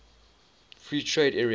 free trade area